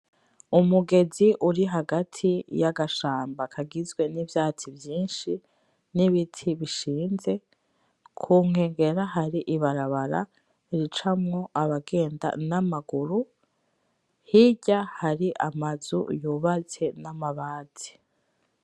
Umugezi uri hagati y'agashamba kagizwe n'ivyatsi vyinshi n'ibiti bishinze. Ku nkengera, hari ibarabara ricamwo abagenda n'amaguru, hirya hari amazu yubatse n'amabati.